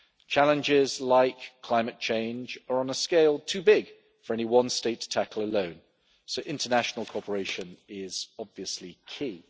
Challenges like climate change are on a scale too big for any one state tackle alone, so international cooperation is, obviously, key.